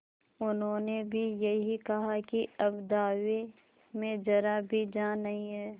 उन्होंने भी यही कहा कि अब दावे में जरा भी जान नहीं है